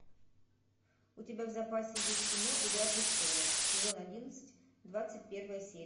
у тебя в запасе есть кино игра престолов сезон одиннадцать двадцать первая серия